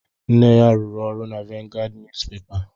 Nne ya rụrụ ọrụ na Vanguard Niyuzupepa